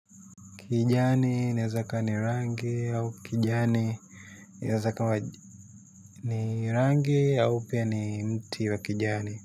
Kijani inaeza ikawa ni rangi au kijani inaeza ikawa ni rangi au pia ni mti wa kijani.